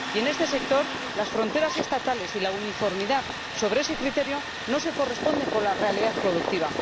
En este sector, las fronteras estatales y la uniformidad sobre ese criterio no se corresponden con la realidad productiva.